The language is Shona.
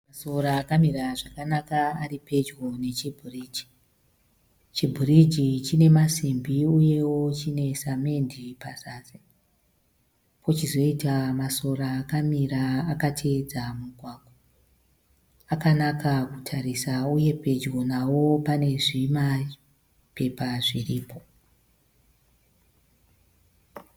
Masora akamira zvakanaka ari pedyo nechibhiriji. Chibhiriji chine masimbi uyeo chine samende pazasi. Pochizoita masora akamira akateedza mugwagwa akanaka kutarisa uye pedyo nao pane zvima pepa zviripo.